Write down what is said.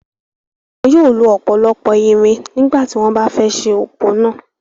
Wọ́n yóò lo ọ̀pọ̀lọpọ̀ irin nígbà tí wọ́n bá fẹ́ ẹ́ se òpó náà.